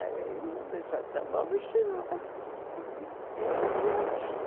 Aí eu disse, então vamos embora.